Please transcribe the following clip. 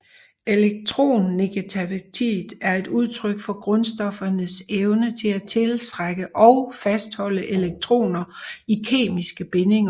Elektronegativitet er et udtryk for grundstoffernes evne til at tiltrække og fastholde elektroner i kemiske bindinger